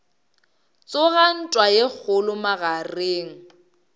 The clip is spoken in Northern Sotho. tsoga ntwa ye kgolo magareng